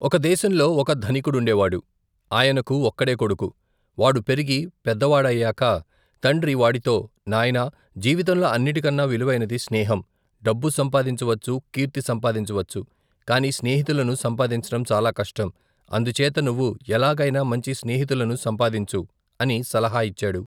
ఒక దేశంలో ఒక ధనికుడుండే వాడు. ఆయనకు ఒక్కడే కొడుకు. వాడు పెరిగి పెద్ద వాడయాక తండ్రి వాడితో, నాయనా జీవితంలో అన్నింటికన్నా విలువైనది స్నేహం. డబ్బు సంపాదించవచ్చు, కీర్తి సంపాదించవచ్చు, కాని స్నేహితులను సంపాదించటం చాలా కష్టం అందుచేత నువ్వు ఎలాగైనా మంచి స్నేహితులను సంపాదించు! అని సలహాయిచ్చాడు.